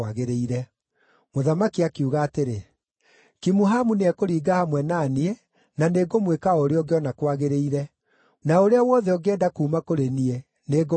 Mũthamaki akiuga atĩrĩ, “Kimuhamu nĩekũringa hamwe na niĩ, na nĩngũmwĩka o ũrĩa ũngĩona kwagĩrĩire. Na ũrĩa wothe ũngĩenda kuuma kũrĩ niĩ nĩ ngũgwĩkĩra.”